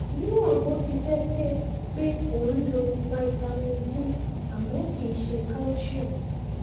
níwọn bó ti jẹ pé pé o ń lo vitamin d àmọ kìí ṣe calcium